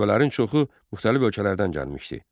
Tələbələrin çoxu müxtəlif ölkələrdən gəlmişdi.